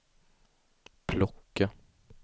plocka